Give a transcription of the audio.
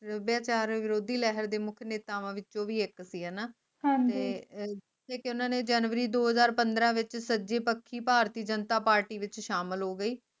ਸਬਯਾਚਾਰ ਵਿਰੋਧੀ ਲਹਿਰ ਦੇ ਮੁਖ ਨੇਤਾਵਾ ਵਿੱਚੋ ਵੀ ਇਕ ਸੀ ਹਣਾ ਤੇ ਅਹ ਉਨ੍ਹਾਂ ਨੇ ਜਨਵਰੀ ਦੋ ਹਜ਼ਾਰ ਪੰਦ੍ਰਾਹ ਸਜੀ ਪੱਖੀ ਭਾਰਤੀ ਜਨਤਾ ਪਾਰਟੀ ਵਿਚ ਸ਼ਾਮਿਲ ਹੋ ਗਯੀ